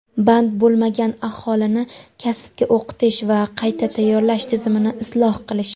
band bo‘lmagan aholini kasbga o‘qitish va qayta tayyorlash tizimini isloh qilish.